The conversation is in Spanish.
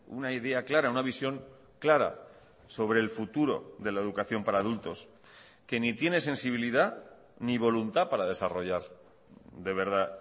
una idea clara una visión clara sobre el futuro de la educación para adultos que ni tiene sensibilidad ni voluntad para desarrollar de verdad